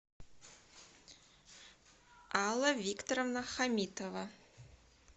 алла викторовна хамитова